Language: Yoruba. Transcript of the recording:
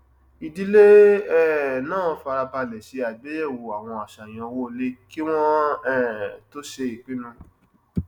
ìdílé um náà fara balẹ ṣe àgbeyẹwò àwọn àṣàyàn owó ilé kí wọn um tó ṣe ìpinnu